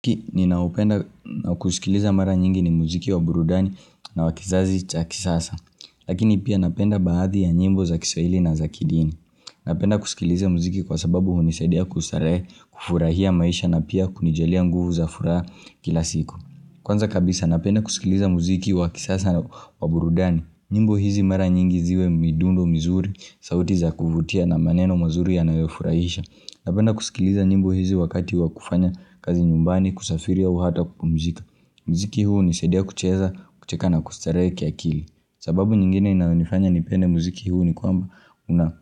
Ki ninaupenda kusikiliza mara nyingi ni muziki wa burudani na wa kizazi cha kisasa Lakini pia napenda baadhi ya nyimbo za kiswahili na za kidini Napenda kusikiliza muziki kwa sababu hunisadia kustarehe kufurahia maisha na pia kunijalia nguvu za furaha kila siku Kwanza kabisa napenda kusikiliza muziki wa kisasa wa burudani nyimbo hizi mara nyingi ziwe midundo mizuri sauti za kuvutia na maneno mazuri yanayofurahisha Napenda kusikiliza nyimbo hizi wakati wa kufanya kazi nyumbani kusafiri au hata kupumzika Mziki huu hunisaidia kucheza kucheka na kustarehe kiakili sababu nyingine inayonifanya nipende mziki huu ni kwamba Una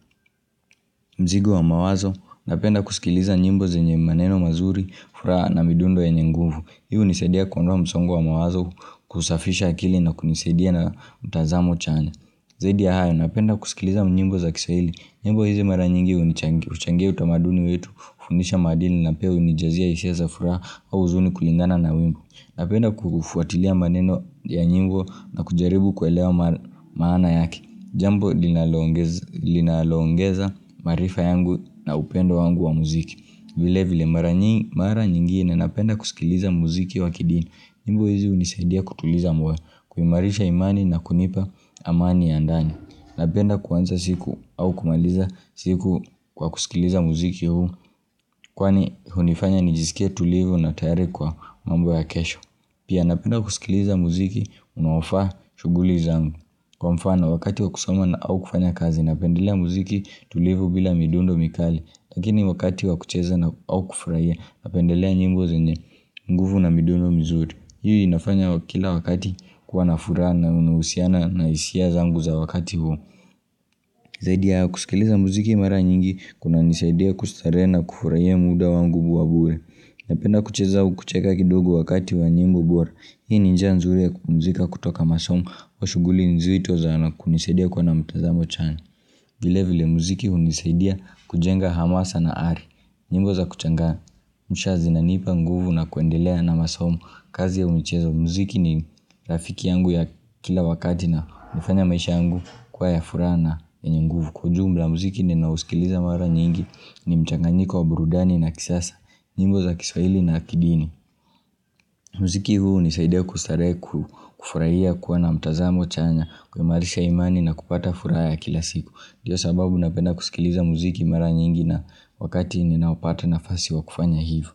mzigo wa mawazo Napenda kusikiliza nyimbo zenye maneno mazuri, furaha na midundo yenye nguvu Hii hunisaidia kuondoa msongo wa mawazo kusafisha akili na kunisaidia na mtazamo chanya Zaidi ya hayo napenda kusikiliza nyimbo za kiswahili nyimbo hizi mara nyingi hunichangia utamaduni wetu, hufundisha maadili na pia hunijazia hisia za furaha au huzuni kulingana na wimbo. Napenda kufuatilia maneno ya nyimbo na kujaribu kuelewa maana yake. Jambo linaloongeza marifa yangu na upendo wangu wa muziki. Vile vile mara nyingine napenda kusikiliza muziki wa kidini. Nyimbo hizi hunisaidia kutuliza moyo, kuimarisha imani na kunipa amani ya ndani. Napenda kuanza siku au kumaliza siku kwa kusikiliza muziki huu Kwani hunifanya nijisikie tulivu na tayari kwa mambo ya kesho Pia napenda kusikiliza muziki unaofaa shughuli zangu Kwa mfano wakati wa kusoma na au kufanya kazi napendelea muziki tulivu bila midundo mikali Lakini wakati wa kucheza na au kufraia napendelea nyimbo zenye nguvu na midundo mizuri Hii inafanya kila wakati kuwa na furaha inanuhusiana na hisia zangu za wakati huo Zaidi ya haya kusikiliza muziki mara nyingi kunanisaidia kustarehe na kufurahia muda wangu wa bure Napenda kucheza u kucheka kidogo wakati wa nyimbo bora Hii ni njia nzuri ya kupumzika kutoka masomo au shughuli nzito za na kunisaidia kuwa na mtazamo chanya vile vile muziki hunisaidia kujenga hamasa na ari nyimbo za kuchangamsha zinanipa nguvu na kuendelea na masomo kazi au michezo mziki ni rafiki yangu ya kila wakati na hunifanya maisha yangu kuwa ya furaha na yenye nguvu. Kwa ujumla mziki ninaousikiliza mara nyingi ni mchanganyiko wa burudani na kisasa, nyimbo za kiswaili na kidini. Mziki huu hunisaidia kustarehe kufuraia kuwa na mtazamo chanya, kuimarisha imani na kupata furaha ya kila siku. Ndio sababu napenda kusikiliza muziki mara nyingi na wakati ninayopata nafasi wa kufanya hivo.